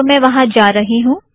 तो मैं वहाँ जा रही हूँ